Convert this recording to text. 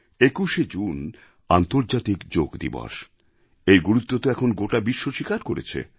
২১শে জুন আন্তর্জাতিক যোগ দিবসএর গুরুত্ব তো এখন গোটা বিশ্ব স্বীকার করেছে